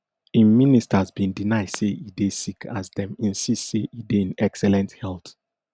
im ministers bin deny say e dey sick as dem insist say e dey in excellent health